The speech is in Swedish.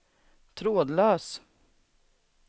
trådlös